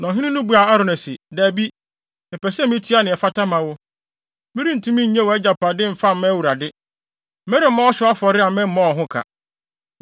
Na ɔhene no buaa Arauna se, “Dabi! Mepɛ sɛ mitua nea ɛfata ma wo. Merentumi nnye wʼagyapade mfa mma Awurade. Meremmɔ ɔhyew afɔre a memmɔɔ ho ka.”